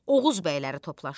Oğuz bəyləri toplandı.